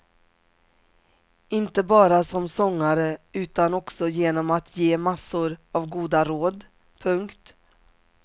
Inte bara som sångare utan också genom att ge massor av goda råd. punkt